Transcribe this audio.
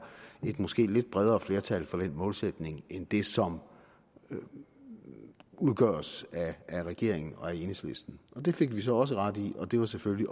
et måske lidt bredere flertal for den målsætning end det som udgøres af regeringen og enhedslisten det fik vi så også ret i og det var selvfølgelig